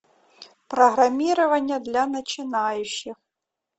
программирование для начинающих